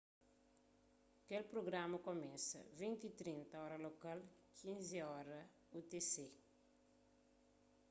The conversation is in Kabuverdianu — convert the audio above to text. kel prugrama kumesa 20:30 óra lokal 15.00 utc